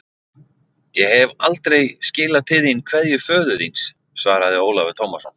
Ég hef aldrei skilað til þín kveðju föður þíns, svaraði Ólafur Tómasson.